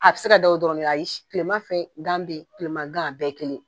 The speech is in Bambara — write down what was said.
A bi se ka da o dɔrɔn de ayis kilema fɛ gan be ye kilema gan a bɛɛ ye kelen